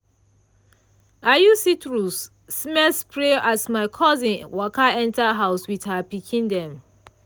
i use citrus-smell spray as my cousin waka enter house with her pikin them.